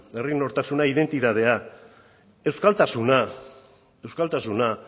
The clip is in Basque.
identitatea euskaltasuna